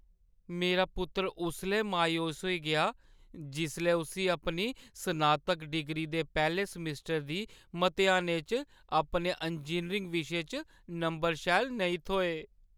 मेरा पुत्तर उसलै मायूस होई गेआ जिसलै उस्सी अपनी स्नातक डिग्री दे पैह्‌ले समैस्टरै दी मतेहानें च अपने इंजीनियरिंग विशे च नंबर शैल नेईं थ्होए।